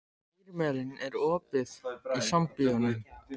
Irmelín, er opið í Sambíóunum?